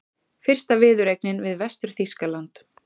Fyrsta viðureignin við Vestur-Þýskaland